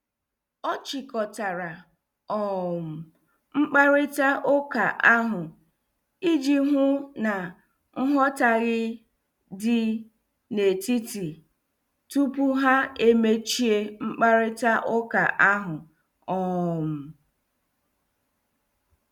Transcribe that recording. Ọ chịkọtara um mkparịta ụka ahụ iji hụ na nghọtahie dị n'etiti tupu ha emechi mkparịta ụka ahụ. um